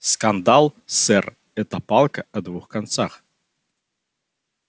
скандал сэр это палка о двух концах